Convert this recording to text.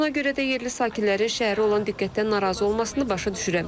Ona görə də yerli sakinlərin şəhərə olan diqqətdən narazı olmasını başa düşürəm.